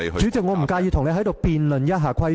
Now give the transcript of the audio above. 主席，我不介意與你在此辯論一下規程。